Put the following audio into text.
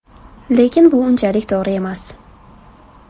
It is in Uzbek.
Lekin bu unchalik to‘g‘ri emas.